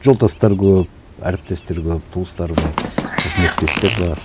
жолдастар көп әріптестер көп туыстар бар қызметтестер бар